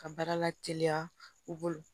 Ka baara la teliya u bolo